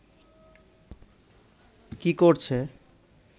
কি করছে